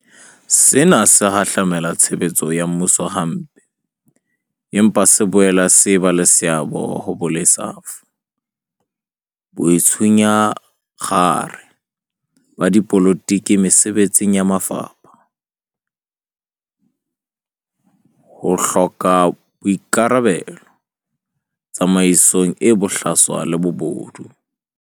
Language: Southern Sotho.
Sena se hahlamela tshebetso ya mmuso hampe, empa se boela se eba le seabo ho bolesafo, boitshunyakgare ba dipolotiki mesebetsing ya mafapha, ho hloka boika rabelo, tsamaiso e bohlaswa le bobodu.